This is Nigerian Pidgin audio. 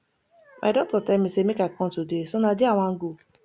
my doctor tell me say make i come today so na there i wan go